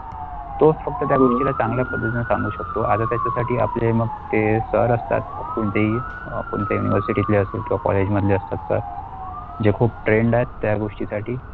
तो फक्त त्या गोष्टीला चांगल्या पद्धतीने सांगू शकतो त्याचा साठी आपल्या मग ते sir असतात कोणतेही अ कोणतेही university ल्या असेल तो College मधले असतात तर जे खूप trained आहे त्या गोष्टीसाठी.